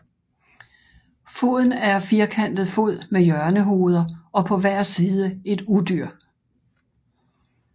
Foden er firkantet fod med hjørnehoveder og på hver side et udyr